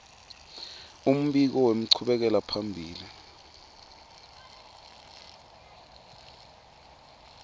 umbiko wenchubekela phambili